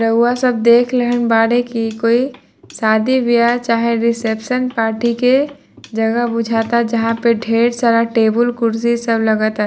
रउआ सब देख लेहन बाड़ी की कोई शादी ब्याह चाहे रिसेप्शन पार्टी के जगह बुझाता जहाँ पे ढ़ेर सारा टेबुल कुर्सी सब लगाता।